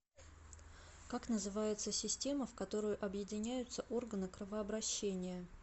как называется система в которую объединяются органы кровообращения